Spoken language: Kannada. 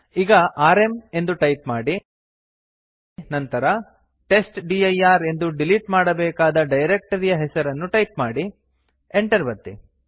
ಈಗ ಆರ್ಎಂ ಎಂದು ಟೈಪ್ ಮಾಡಿ ನಂತರ ಟೆಸ್ಟ್ಡಿರ್ ಎಂದು ಡಿಲಿಟ್ ಮಾಡಬೇಕಾದ ಡೈರಕ್ಟರಿಯ ಹೆಸರನ್ನು ಟೈಪ್ ಮಾಡಿ enter ಒತ್ತಿ